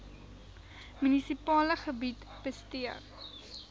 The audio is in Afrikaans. munisipale gebied bestee